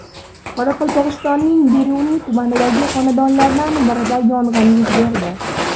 Qoraqalpog‘istonning Beruniy tumanidagi xonadonlardan birida yong‘in yuz berdi.